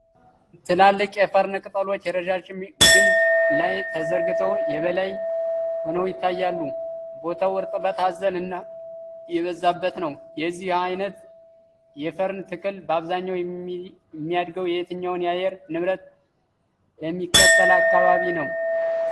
ትላልቅ የፈርን ቅጠሎች ረዣዥም ግንድ ላይ ተዘርግተው የበላይ ሆነው ይታያሉ። ቦታው እርጥበት አዘል እና ጥላ የበዛበት ነው። የዚህ አይነት የፈርን ተክል በአብዛኛው የሚያድገው የትኛውን የአየር ንብረት በሚከተል አካባቢ ነው?